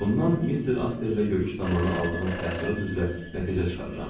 Bundan Mister Astley ilə görüş zamanı aldığım təəssürat üzrə nəticə çıxarıram.